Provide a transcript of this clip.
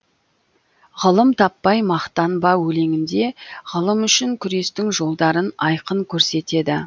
ғылым таппай мақтанба өлеңінде ғылым үшін күрестің жолдарын айқын көрсетеді